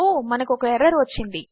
మనకుఒకఎర్రర్వచ్చింది